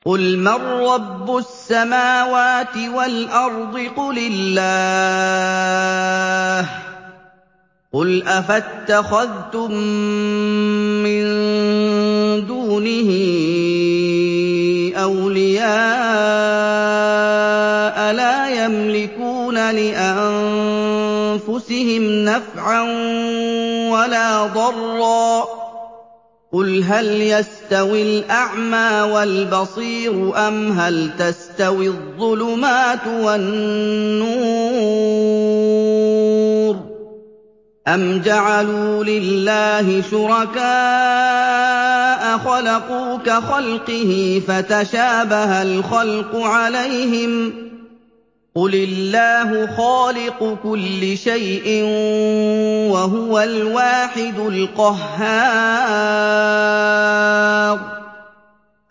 قُلْ مَن رَّبُّ السَّمَاوَاتِ وَالْأَرْضِ قُلِ اللَّهُ ۚ قُلْ أَفَاتَّخَذْتُم مِّن دُونِهِ أَوْلِيَاءَ لَا يَمْلِكُونَ لِأَنفُسِهِمْ نَفْعًا وَلَا ضَرًّا ۚ قُلْ هَلْ يَسْتَوِي الْأَعْمَىٰ وَالْبَصِيرُ أَمْ هَلْ تَسْتَوِي الظُّلُمَاتُ وَالنُّورُ ۗ أَمْ جَعَلُوا لِلَّهِ شُرَكَاءَ خَلَقُوا كَخَلْقِهِ فَتَشَابَهَ الْخَلْقُ عَلَيْهِمْ ۚ قُلِ اللَّهُ خَالِقُ كُلِّ شَيْءٍ وَهُوَ الْوَاحِدُ الْقَهَّارُ